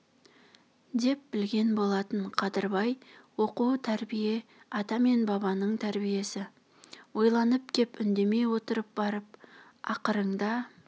деп білген болатын қадырбай оқу тәрбие ата мен бабаның тәрбиесі ойланып кеп үндемей отырып барып ақырыңда